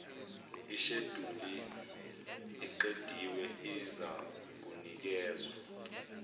isheduli eqediwe izakunikezwa